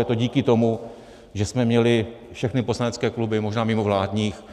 Je to díky tomu, že jsme měli, všechny poslanecké kluby, možná mimo vládních,